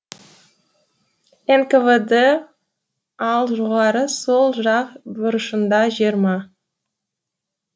нквд ал жоғары сол жақ бұрышында жиырма